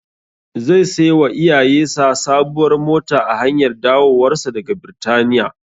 Zai sai wa iyayesa sabuwar mota a hanyar dawowarsa daga Birtaniya.